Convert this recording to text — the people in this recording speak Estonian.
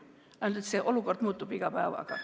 Ainult et praegune olukord muutub iga päevaga.